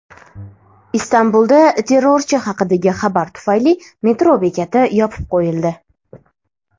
Istanbulda terrorchi haqidagi xabar tufayli metro bekati yopib qo‘yildi.